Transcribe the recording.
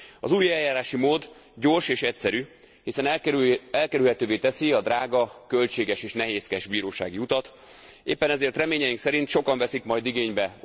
Az új eljárási mód gyors és egyszerű, hiszen elkerülhetővé teszi a drága, költséges és nehézkes bírósági utat, éppen ezért reményeink szerint sokan veszik majd igénybe.